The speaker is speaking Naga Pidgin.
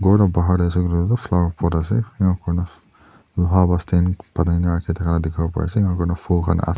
kor laga bahar dae asae koi lae toh flower pot asae enak kurina loha para stand bonai na dikapo pari asae·aru enka koina fol kan aa.